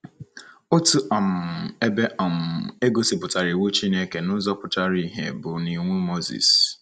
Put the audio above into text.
Otu um ebe um e gosipụtara iwu Chineke n’ụzọ pụtara ìhè bụ n’Iwu Moses.